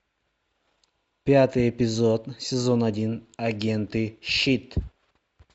пятый эпизод сезон один агенты щит